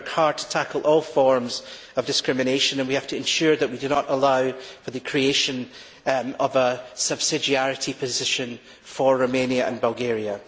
We work hard to tackle all forms of discrimination and we have to ensure that we do not allow for the creation of a subsidiarity position for Romania and Bulgaria.